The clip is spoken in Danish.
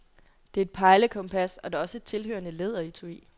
Det er et pejlekompas, og der er også et tilhørende læderetui.